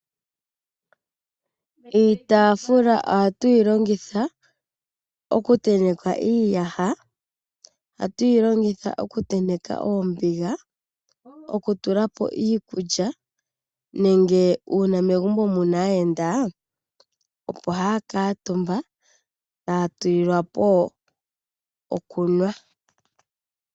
Iitaafula ohatu yi longitha oku tenteka iiyaha. Ohatu yi longitha oku tenteka oombiga, oku tula po iikulya nenge uuna megumbo muna aayenda opo ya kuutumba taya tulilwa po okunwa.